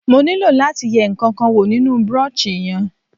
Mo nílò láti yẹ ǹkankan wò nínú brochure yẹn.